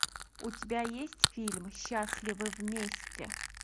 у тебя есть фильм счастливы вместе